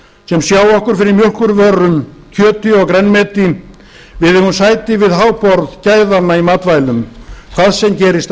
sem sjá okkur fyrir mjólkurvörum kjöti og grænmeti við eigum sæti við háborð gæðanna í matvælum hvað sem gerist á